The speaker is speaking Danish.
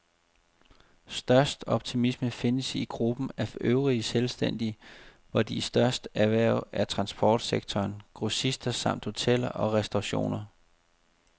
Størst optimisme findes i gruppen af øvrige selvstændige, hvor de største erhverv er transportsektoren, grossister samt hoteller og restaurationer.